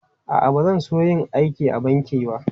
A'a, ba zan so yin aiki a banki ba.